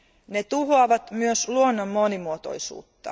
Ne tuhoavat myös luonnon monimuotoisuutta.